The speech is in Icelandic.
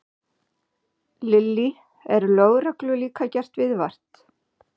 Lillý: Er lögreglu líka gert viðvart?